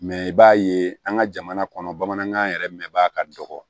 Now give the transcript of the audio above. Mɛ i b'a ye an ka jamana kɔnɔ bamanankan yɛrɛ mɛnbaa ka dɔgɔ